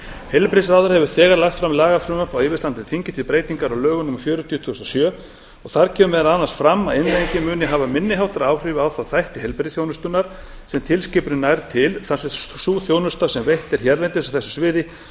heilbrigðisráðherra hefur lagt fram lagafrumvarp á yfirstandandi þingi til breytingar á lögum númer fjörutíu tvö þúsund og sjö þar kemur meðal annars fram að innleiðingin muni hafa minni háttar áhrif á þá þætti heilbrigðisþjónustunnar sem tilskipunin nær til þar sem sú þjónusta sem veitt er hérlendis á þessu sviði